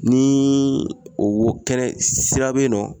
Ni o wo kɛnɛ sira be in nɔ